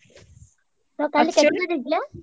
ତ କାଲି